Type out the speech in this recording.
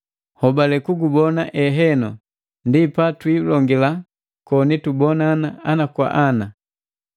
Nhobale kugubona eheno ndi patwiilongila koni tubonana ana kwa ana.